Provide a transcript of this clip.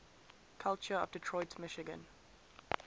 culture of detroit michigan